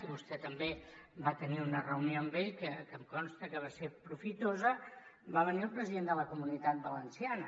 i vostè també va tenir una reunió amb ell que em consta que va ser profitosa va venir el president de la comunitat valenciana